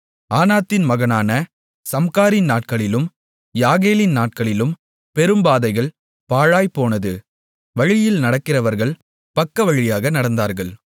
ஆனாத்தின் மகனான சம்காரின் நாட்களிலும் யாகேலின் நாட்களிலும் பெரும்பாதைகள் பாழாய்ப் போனது வழியில் நடக்கிறவர்கள் பக்கவழியாக நடந்தார்கள்